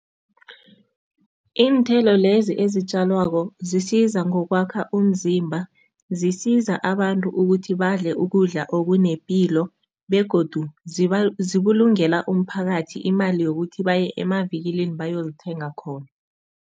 Iinthelo lezi ezitjalwako zisiza ngokwakha umzimba, zisiza abantu ukuthi badle ukudla okunepilo begodu zibulungela umphakathi imali yokuthi baye emavikilini bayozithenga khona.